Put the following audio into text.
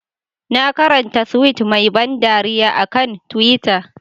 Na karanta tweet mai ban dariya a kan twitter.